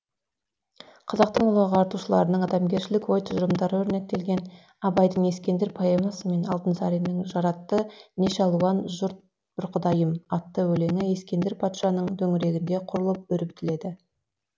қазақтың ұлы ағартушыларының адамгершілік ой тұжырымдары өрнектелген абайдың ескендір поэмасы мен алтынсаринның жаратты неше алуан жұрт бір құдайым атты өлеңі ескендір патшаның төңірегінде құрылып өрбітіледі